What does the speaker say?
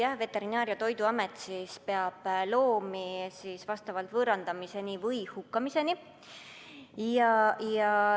Jah, Veterinaar- ja Toiduamet peab loomi võõrandamiseni või hukkamiseni.